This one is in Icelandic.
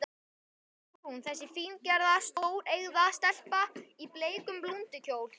Þarna var hún, þessi fíngerða, stóreygða stelpa í bleikum blúndukjól.